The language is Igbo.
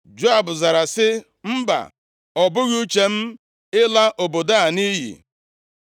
Joab zara sị, “Mba! Ọ bụghị uche m ịla obodo a nʼiyi.